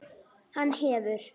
Hann hefur.